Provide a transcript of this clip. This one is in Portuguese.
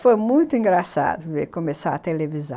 Foi muito engraçado ver começar a televisão.